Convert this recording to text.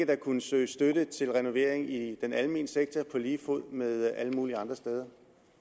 vil kunne søges støtte til renovering i den almene sektor på lige fod med alle mulige andre steder